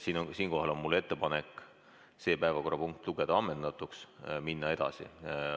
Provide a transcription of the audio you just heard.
Siinkohal on mul ettepanek lugeda see päevakorrapunkt ammendatuks ja minna edasi.